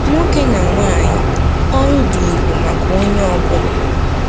Nwoke na nwanyị -- Ọrụ dị ùgwù maka onye ọ bụla